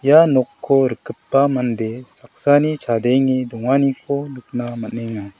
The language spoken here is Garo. ia nokko rikgipa mande saksani chadenge donganikoba nikna man·enga.